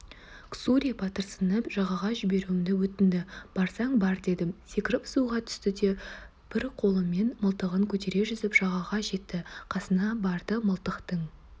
ксури батырсынып жағаға жіберуімді өтінді барсаң бар дедім секіріп суға түсті де бір қолымен мылтығын көтере жүзіп жағаға жетті қасына барды да мылтықтың